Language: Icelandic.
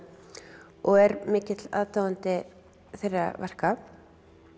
og er mikill aðdáandi þeirra verka